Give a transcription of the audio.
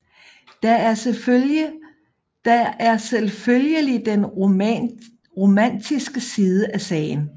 Der er selvfølgelig den romantiske side af sagen